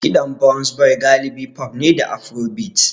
Kiɗan Burna Boy galibi pop ne da Afrobeats.